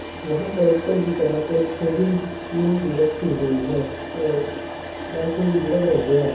वहा पर ऊपर की तरफ एक शेविंग क्रीम भी रखी हुई है और एलसीडी भी लग रही है।